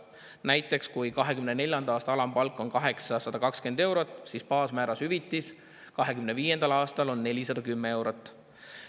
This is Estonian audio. Näiteks kui 2024. aasta alampalk on 820 eurot, siis baasmääras hüvitis 2025. aastal on 410 eurot.